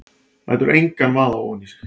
Lætur engan vaða ofan í sig.